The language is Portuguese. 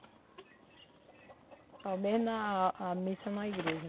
Talvez na a missa, na igreja, sim.